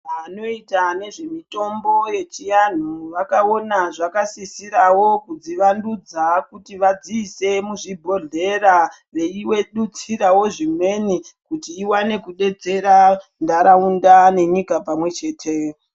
Anoita nezvemutombo yechianhu vakaona zvakasisirawo kudzivandudza kuti vadziise muzvibhodhlera veidutsirawo zvimweni kuti iwane kudetsera ndaraunda nenyika pamwe chete.